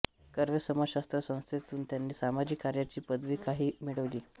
कर्वे समाजशास्त्र संस्थेतून त्यांनी सामाजिक कार्याची पदविकाही मिळविली